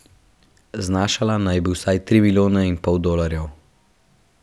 Znašala naj bi vsaj tri milijone in pol dolarjev.